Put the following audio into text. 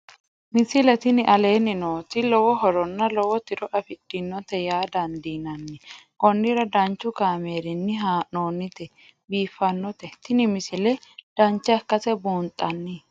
misile tini aleenni nooti lowo horonna lowo tiro afidhinote yaa dandiinanni konnira danchu kaameerinni haa'noonnite biiffannote tini misile dancha ikkase buunxanni